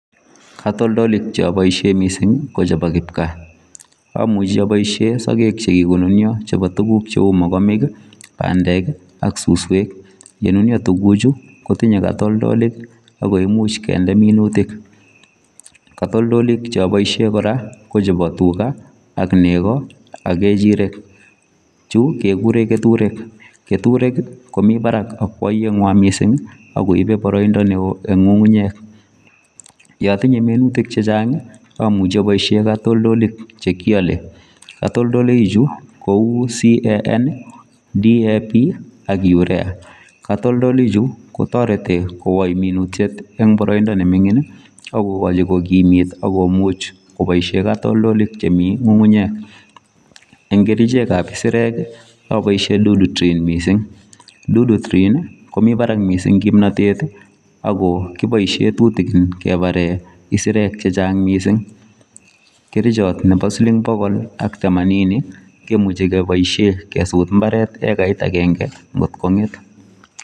Katoldolik cheboishen missingi ko chebo kipkaa, omuchi oboishen sokek chekikonunio chebo tukuk cheu mokomiki pandek ak suswek, yenunio tukuchu kotinye kotoldoiwek ak koimuch kende minutik katoldolik che iboishe koraa ko chebo tugaa , ak nekoo ak ngechirek chuu kekuren keturek keturek komii barak akoibe boroido neo en ngungunyek yotinye minutik chechang i6muche iboishen kotoldolik chekiole kotoldolik chuu kou CAN DAP ak Urea kotoldoloik chuu kotoreti kokoin minutyet en boroindo nemingin ak kokochin kokimit ak kokochin kotoldolik chemii ngungunyek en kerichek ab isirek oboishen Dudutrin missing. Dudurin nii komii barak missing kiboishen tutukin kebaren isirek chechang missing. kerichot nebo silling bokol ak temanini kemuche keboishen kesut imbaret ekarit agenge kotkonget.